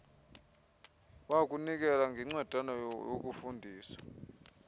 wokunikela ngencwadana yokufundisa